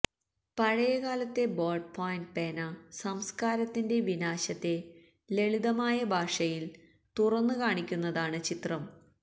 പഴയകാലത്തെ ball point പേന സംസ്കാരത്തിന്റെ വിനാശത്തെ ലളിതമായ ഭാഷയില് തുറന്ന് കാണിക്കുന്നതാണ് ചിത്രം